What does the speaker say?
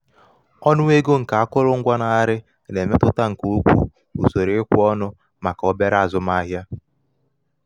ọnụ ego nke akụrụngwa na-arị na-emetụta nke ukwuu usoro ikwe ọnụ ahịa maka obere maka obere azụmahịa